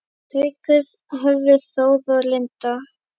Haukur, Hörður Þór og Linda.